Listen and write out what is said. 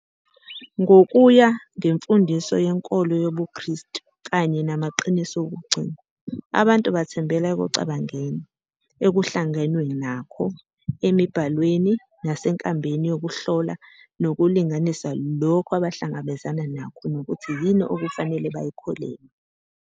Ngokuya ngemfundiso yenkolo yobuKristu kanye namaqiniso wokugcina, abantu bathembela ekucabangeni, ekuhlangenwe nakho, emibhalweni, nasenkambeni yokuhlola nokulinganisa lokho abahlangabezana nakho nokuthi yini okufanele bayikholelwe.